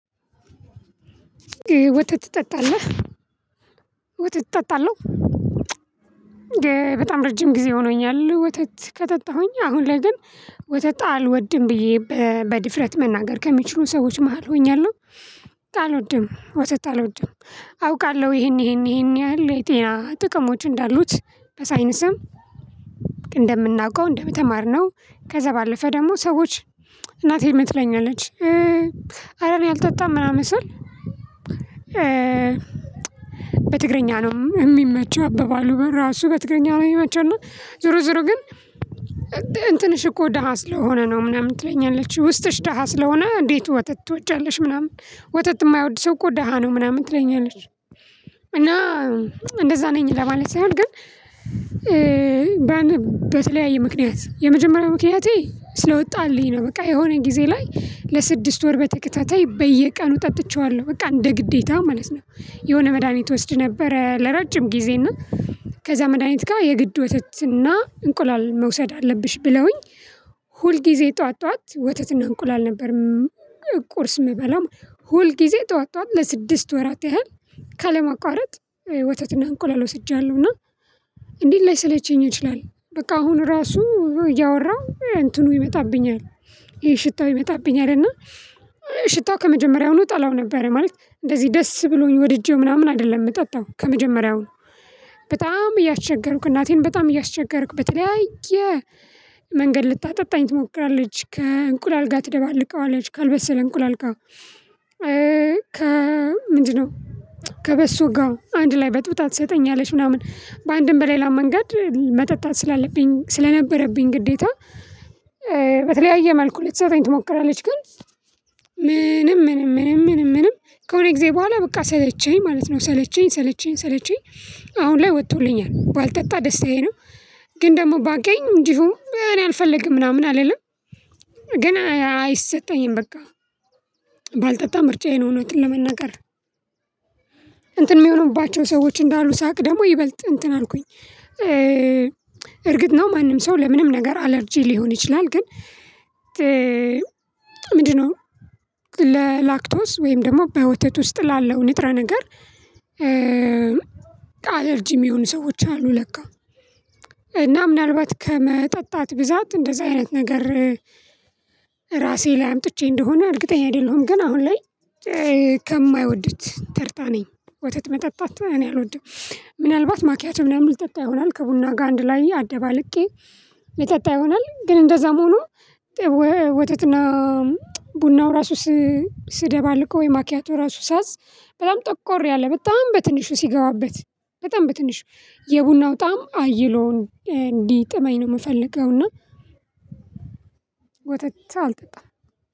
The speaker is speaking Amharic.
ወተት ትጠጣለህ? ወተት እጠጣለው። በጣም ረጅም ጊዜ ሆኖኛል ወተት ከጠጣሁኝ አሁን ላይ ግን ወተት አልወድም ብዬ በድፍረት መናገር ከሚችሉ ሰዎች መሃል ሆኛለሁ። አልወድም ወተት አልወድም አውቃለሁ ይሄን ይሄን ይሄን ያህል የጤና ጥቅሞች እንዳሉት በሳይንስም እንደምናውቀው እንደተማር ነው ከዛ ባለፈ ደግሞ ሰዎች እናቴ የምትለኝ አለች። አረ እኔ አልጠጣም ምናምን ስል። በትግረኛ ነው የሚመቸው አበባሉ ግን ራሱ በትግረኛ ነው መቼም ዞሮ ዞሮ ግን እንትንሽ እኮ ደሃ ስለሆነ ነው ምናምን ትለኛለች። ውስጥሽ ደሃ ስለሆነ እንዴት ወተት ትወጃለሽ? ምናምን ወተት የማይወድ ሰው እኮ ደሃ ነው ምናምን ትለኛለሽ። እና እንደዛ ነኝ ለማለት ሳይሆን ግን በተለያየ ምክንያት የመጀመሪያው ምክንያቴ ስለወጣልኝ ነው። በቃ የሆነ ጊዜ ላይ ለስድስት ወር በተከታታይ በየቀኑ ጠጥቼዋለሁ በቃ እንደ ግዴታ ማለት ነው። የሆነ መድሃኒት እወስድ ነበረ። ለረጅም ጊዜ እና ከዛ መድሃኒት ጋር የግድ ወተትና እንቁላል መውሰድ አለብሽ ብለውኝ። ሁል ጊዜ ጠዋት ጠዋት ወተትና እንቁላል ነበር። ቁርስ የምበላው ሁል ጊዜ ጠዋት ጠዋት ለስድስት ወራት ያህል ካለማቋረጥ ወተትና እንቁላል ወስጃለሁ። እና እንዴት ላይ ሰለቸኝ እንችላለን በቃ አሁን ራሱ እያወራሁ እንትኑ ይመጣብኛል። ይሄ ሽታው ይመጣብኛል እና። ሽታው ከመጀመሪያው ነው እጠላው ነበረ ማለት እንደዚህ ደስ ብሎኝ ወድጄው ምናምን አይደለም የምጠጣው ከመጀመሪያውን። በጣም እያስቸገርኩ እናቴን በጣም እያስቸገርኩ በተለያየ መንገድ ልታጠጣኝ ትሞክራለች። ከእንቁላል ጋር ትደባለቀዋለች ካልበሰለ እንቁላልቃው ከ ምንድነው ከበሶ ጋው አንድ ላይ በጥብጣት ትሰጠኛለች። ምናምን በአንድም በሌላ መንገድ መጠጣት ስላለብኝ ስለነበረብኝ ግዴታ። በተለያየ መልኩ ልትሰጠኝ ትሞክራለች። ግን ምንም ምንም ምንም ምንም ከሆነ ጊዜ በኋላ በቃ ሰለቸኝ ማለት ነው። ሰለቸኝ ሰለቸኝ ሰለቸኝ አሁን ላይ ወጥቶልኛል ባልጠጣ ደስታዬ ነው። ግን ደግሞ ባገኝ እንዲሁ እኔ አልፈልግም ምናምን አልልም። ግን አይሰጠኝም በቃ። ባልጠጣ ምርጫዬን እውነቱ ለመናገር። እንትን የሚሆኑባቸው ሰዎች እንዳሉ ሳቅ ደግሞ ይበልጥ እንትን አልኩኝ። እርግጥ ነው ማንም ሰው ለምንም ነገር አለርጂ ሊሆን ይችላል። ግን ምንድነው? ለላክቶስ ወይም ደግሞ በወቴት ውስጥ ላለው ንጥረ ነገር። አለርጂም ሚሆኑ ሰዎች አሉ። ለካው እና ምናልባት ከመጠጣት ብዛት እንደዛ አይነት ነገር። ራሴ ላይ አምጥቼ እንደሆነ እርግጠኛ አይደለሁም። ግን አሁን ላይ ከማይወዱት ተርታ ነኝ። ወተት መጣጣት እኔ አልወድም። ምናልባት ማኪያት ምናምን ሊጠጣ ይሆናል ከቡና ጋር አንድ ላይ አደባልቄ ሊጠጣ ይሆናል ግን እንደዛም ሆኖ። ወተትና ቡናው ራሱ ስደባልቀው ወይ ማኪያቱ ራሱ ሳዝ በጣም ጠቆር ያለ በጣም በትንሹ ሲገባበት። በጣም በትንሹ የቡናው ጣዕም አየለውን እንዲህ ጥመኝ ነው የምፈልገው እና። ወተት አልጠጣም።